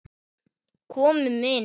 Komum inn!